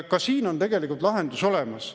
Ka siin on tegelikult lahendus olemas.